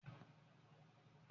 Ibi ọmọ ni o kọ́kọ́ jáde kí ọmọ tó jáde